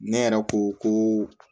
Ne yɛrɛ ko ko